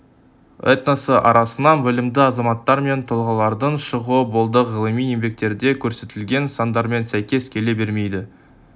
этносы арасынан білімді азаматтар мен тұлғалардың шығуы болды ғылыми еңбектерде көрсетілген сандармен сәйкес келе бермейді